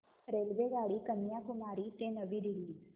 रेल्वेगाडी कन्याकुमारी ते नवी दिल्ली